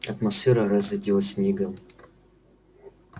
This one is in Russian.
атмосфера разрядилась мигом